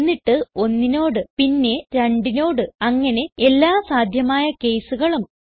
എന്നിട്ട് 1 നോട് പിന്നെ 2നോട് അങ്ങനെ എല്ലാ സാധ്യമായ caseകളും